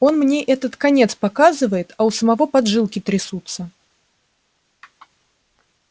он мне этот конец показывает а у самого поджилки трясутся